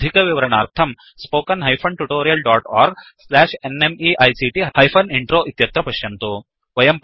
अधिकविवरणार्थं spoken hyphen tutorial dot org slash nmeict hyphen intro इत्यत्र पश्यन्तु